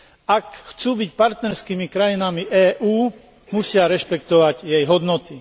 Ak chcú byť partnerskými krajinami EÚ, musia rešpektovať jej hodnoty.